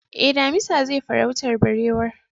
Eh, damisa zai farautar barewar